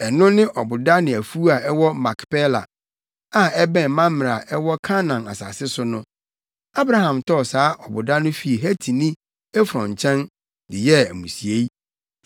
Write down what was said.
Ɛno ne ɔboda ne afuw a ɛwɔ Makpela, a ɛbɛn Mamrɛ a ɛwɔ Kanaan asase so no. Abraham tɔɔ saa ɔboda no fii Hetini Efron nkyɛn, de yɛɛ amusiei.